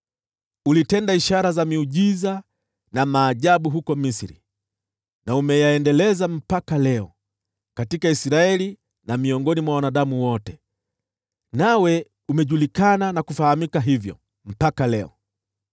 Ulitenda ishara za miujiza na maajabu huko Misri, na umeyaendeleza mpaka leo, katika Israeli na miongoni mwa wanadamu wote, nawe umejulikana na kufahamika hivyo mpaka leo.